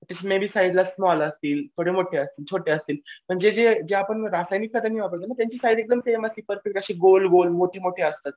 ते मी बी साईझला थोडे स्मॉल असतील थोडे मोठे असतील छोटे असतील पण जे जे आपण रासायनिक खत वापरतो ना त्याची साईझ एकदम सेम अशी गोल गोल मोठी मोठी असतात.